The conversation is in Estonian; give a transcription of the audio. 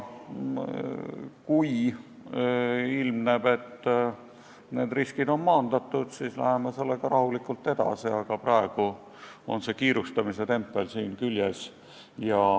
Kui ilmneb, et need riskid on maandatud, siis läheme selle asjaga rahulikult edasi, aga praegu on kiirustamise tempel siin küljes.